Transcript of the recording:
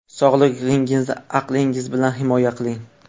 Sog‘lig‘ingizni aqlingiz bilan himoya qiling.